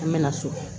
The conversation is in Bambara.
An mɛna so